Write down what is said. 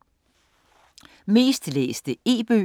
Mest læste e-bøger